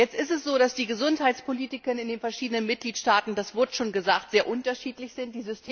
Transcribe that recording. Jetzt ist es so, dass die Gesundheitspolitik in den verschiedenen Mitgliedstaaten das wurde schon gesagt sehr unterschiedlich ist.